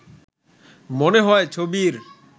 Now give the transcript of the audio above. মনে হয় ছবির